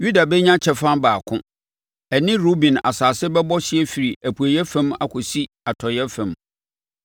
Yuda bɛnya kyɛfa baako; ɛne Ruben asase bɛbɔ hyeɛ firi apueeɛ fam akɔsi atɔeɛ fam.